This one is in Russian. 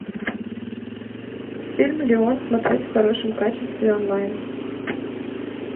фильм леон смотреть в хорошем качестве онлайн